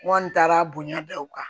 N kɔni taara bonya bɛɛ o kan